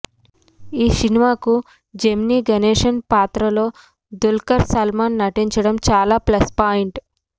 ఈ సినిమాకు జెమినీ గణేశన్ పాత్రలో దుల్కర్ సల్మాన్ నటించడం చాలా ప్లస్ పాయింట్